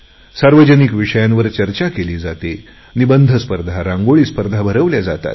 सार्वजनिक विषयांवर चर्चा केली जाते निबंध स्पर्धा रांगोळी स्पर्धा भरवल्या जातात